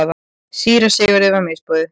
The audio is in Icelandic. Síra Sigurði var misboðið.